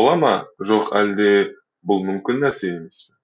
бола ма жоқ әлде бұл мүмкін нәрсе емес пе